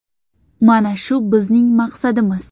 Mana shu bizning maqsadimiz.